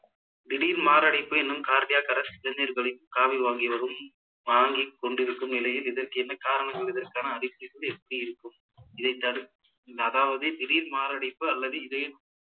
தீடிர் மாரடைப்பு எனும் cardiac arrest இளைஞர்களின் காவி வாங்கி வரும் வாங்கி கொண்டிருக்கும் நிலையில் இதற்கு என்ன காரணம் என்பதற்கான அறிகுறிகள் எப்படி இருக்கும் இதை தடு~ அதாவது திடீர் மாரடைப்பு அல்லது இதய